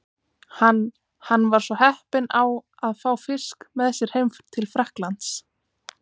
Hann hann var svo heppinn á að fá fisk með sér heim til Frakklands.